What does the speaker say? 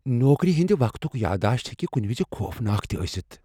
نوكری ہندِ وقتٗك یاداشت ہیكہِ كٗنہِ وِزِ خوفناك تہِ ٲسِتھ ۔